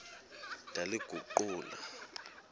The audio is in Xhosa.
ndaliguqula